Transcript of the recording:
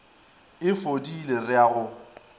e fodile re a go